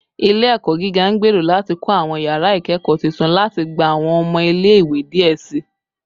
Ile-ẹkọ giga ngbero lati kọ awọn yara ikẹkọ tuntun lati gba awọn ọmọ ile-iwe diẹ sii